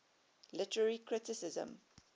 literary criticism